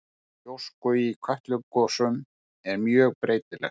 Magn gjósku í Kötlugosum er mjög breytilegt.